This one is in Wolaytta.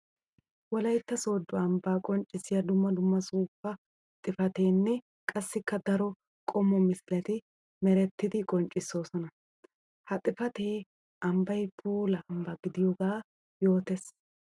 Wolaytta soodo ambba qonccissiya dumma dumma suufa xuufettinne qassikka daro qommo misiletti merettiddi qonccsossonna. Ha xuufetti ambbay puula ambba gidiyooga yootes.